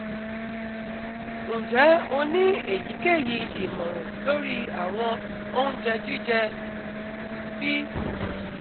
Nje o ni eyikeyi imọran lori awọn ounjẹ jijẹ P